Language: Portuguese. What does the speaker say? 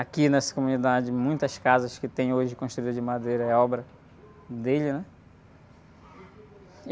Aqui nessa comunidade, muitas casas que tem hoje, construídas de madeira, é obra dele, né?